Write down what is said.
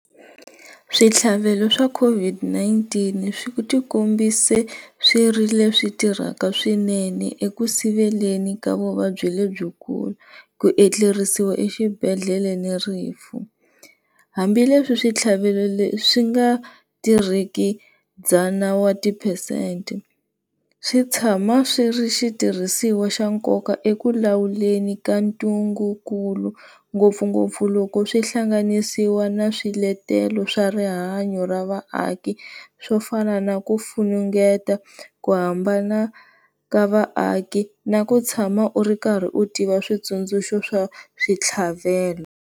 Switlhavelo swa COVID-19 swi tikombise swi ri leswi tirhaka swinene eku siveleni ka vuvabyi lebyikulu, ku etlerisiwa exibedhlele ni rifu hambileswi switlhavelo leswi swi nga tirhiki dzana wa tiphesente, swi tshama swi ri xitirhisiwa xa nkoka eku lawuleni ka ntungu kulu ngopfungopfu loko swihlanganisiwa na swiletelo swa rihanyo ra vaaki swo fana na ku funengeta ku hambana ka vaaki na ku tshama u ri karhi u tiva switsundzuxa swa switlhavelo.